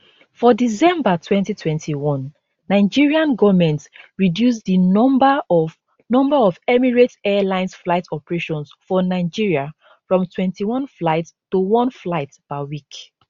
for december 2021 nigerian goment reduce di number of number of emirates airlines flight operations for nigeria from 21 flights to one flight per week